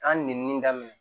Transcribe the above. An nɛni daminɛ